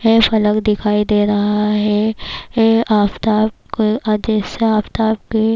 یہ فلک دکھائی دے رہا ہے- یہ افتاب کی جیسے افتاب کے--